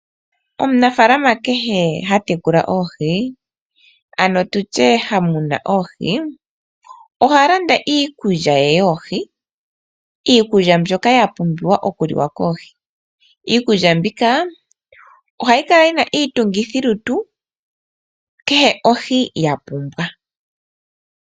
Omunafaalana kehe ha tekula oohi ano tutye ha muna oohi, oha landa iikulya ye yoohi, iikulya mbyoka yapumbiwa oku liwa koohi. Iikulya mbika ohayi kala yina iitungithilutu kehe ohi yapumbwa.